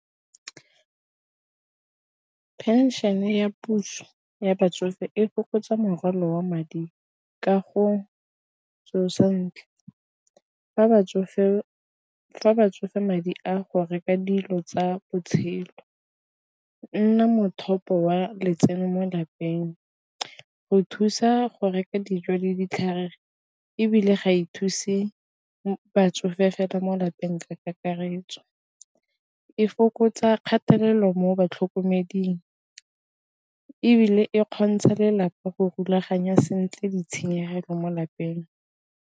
Phenšene ya puso ya batsofe e fokotsa morwalo wa madi ka go tsosa sentle fa batsofe madi a go reka dilo tsa botshelo nna mothapo wa letseno mo lapeng. Go thusa go reka dijo le ditlhare ebile ga e thuse batsofe fela mo lapeng ka karetso e fokotsa kgatelelo mo batlhokomeding, ebile e kgontsha lelapa go rulaganya sentle di tshenyegelo mo lapeng.